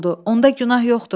Onda günah yoxdur.